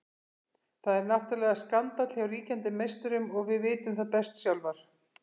Það er náttúrulega skandall hjá ríkjandi meisturum og við vitum það best sjálfar.